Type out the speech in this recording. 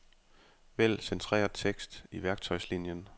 Vælg centreret tekst i værktøjslinien.